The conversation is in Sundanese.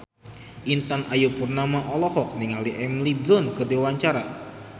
Intan Ayu Purnama olohok ningali Emily Blunt keur diwawancara